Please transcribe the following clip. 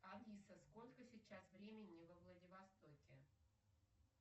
алиса сколько сейчас времени во владивостоке